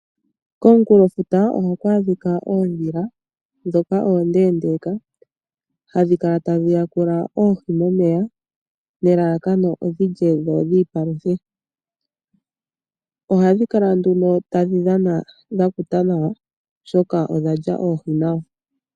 Komunkulofuta ohaku adhika oondhila ndhoka oondeendeka, hadhi kala tadhi yakula oohi momeya nelalakano odhi lye dho dhi ipaluthe. Ohadhi kala nduno tadhi dhana dha kuta nawa, oshoka odha lya oohi nawa.